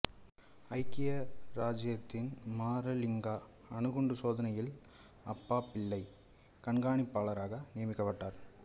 ஐக்கிய இராச்சியத்தின் மாரலிங்கா அணுகுண்டு சோதனையில் அப்பாபிள்ளை கண்கானிப்பாளராக நியமிக்கப்பட்டார்